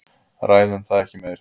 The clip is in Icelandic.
Ræðum það ekki meir.